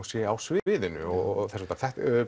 sé á sviðinu og þess háttar